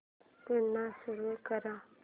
पुन्हा सुरू कर